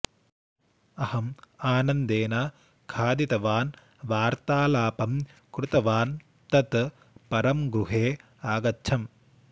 अहम् आनन्देन खादितवान् वार्तालापं कृतवान् तत् परं गृहे आगच्छम्